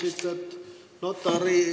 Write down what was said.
Aitäh!